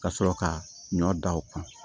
Ka sɔrɔ ka ɲɔ dan o kan